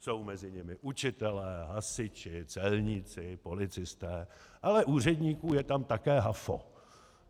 Jsou mezi nimi učitelé, hasiči, celníci, policisté, ale úředníků je tam také hafo.